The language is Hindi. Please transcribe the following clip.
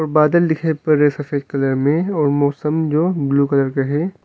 बादल दिखाई पर सफेद कलर में और मौसम जो ब्लू कलर का है।